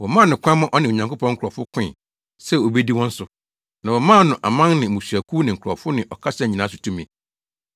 Wɔmaa no kwan ma ɔne Onyankopɔn nkurɔfo koe sɛ obedi wɔn so. Na wɔmaa no aman ne mmusuakuw ne nkurɔfo ne ɔkasa nyinaa so tumi.